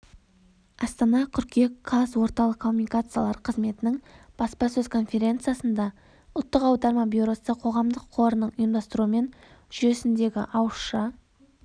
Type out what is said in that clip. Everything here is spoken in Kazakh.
астана қыркүйек қаз орталық коммуникациялар қызметінің баспасөз конференциясында ұлттық аударма бюросы қоғамдық қорының ұйымдастыруымен жүйесіндегі ауызша